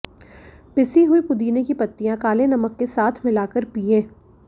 पिसी हुई पुदीने की पत्तियां काले नमक के साथ मिलाकर पिएं